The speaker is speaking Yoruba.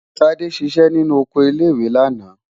Tádé ṣiṣẹ́ nínú oko ilé-ìwé lánàá.